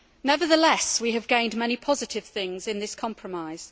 Nevertheless, we have gained many positive things in this compromise.